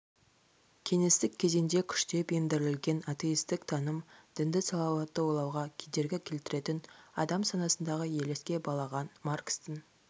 кеңестік кезеңде күштеп ендірілген атеистік таным дінді салауатты ойлауға кедергі келтіретін адам санасындағы елеске балаған маркстің